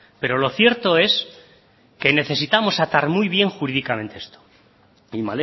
pero lo cierto es que necesitamos atar muy bien jurídicamente esto y